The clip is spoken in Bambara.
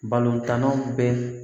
Balontannaw bɛ